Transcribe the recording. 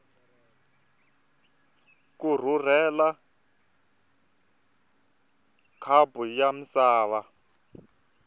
ku rhurhela khapu ya misava